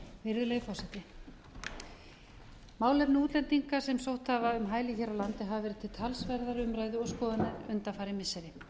virðulegi formi málefni útlendinga sem sótt hafa um hæli hér á landi hafa verið til talsverðrar umræðu og skoðunar undanfarin missiri vil